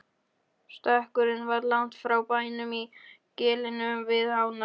Stekkurinn var langt frá bænum í gilinu við ána.